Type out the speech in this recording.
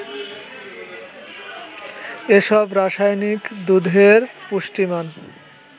এসব রাসায়নিক দুধের পুষ্টিমান